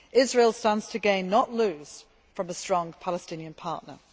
Israel stands to gain, not lose, from a strong Palestinian partner.